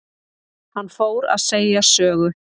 Hann fór að segja sögu.